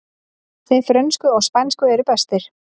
Þeir frönsku og spænsku eru bestir